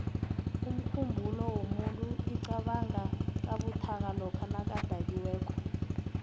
umkhumbulo womuntu iqabanga kabuthaka lokha nakadakiweko